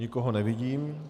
Nikoho nevidím.